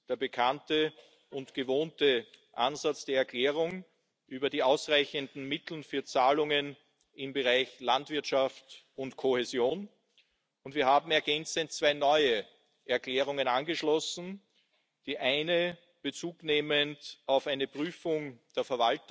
ist, der zweitletzte, den die Kommission erarbeitet hat, und es ist